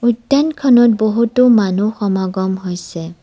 উদ্যানখনত বহুতো মানুহ সমাগম হৈছে।